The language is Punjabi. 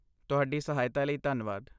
ਤੁਹਾਡੀ ਸਹਾਇਤਾ ਲਈ ਧੰਨਵਾਦ